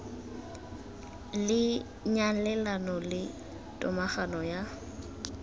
le nyalelano le tomagano ya